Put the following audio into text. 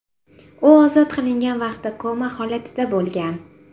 U ozod qilingan vaqtda koma holatida bo‘lgan.